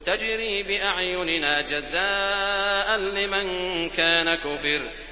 تَجْرِي بِأَعْيُنِنَا جَزَاءً لِّمَن كَانَ كُفِرَ